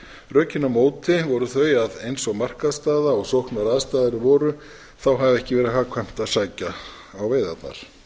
rökin á móti voru þau að eins og markaðsstaða og sóknaraðstæður voru hafi ekki verið hagkvæmt að sækja á veiðarnar